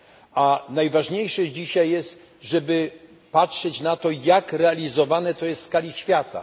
A najważniejsze dzisiaj jest, żeby patrzeć na to, jak realizowane to jest w skali świata.